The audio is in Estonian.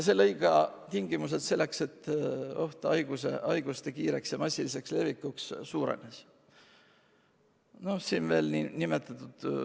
See lõi tingimused selleks, et oht haiguste kiireks ja massiliseks levikuks sai suureneda.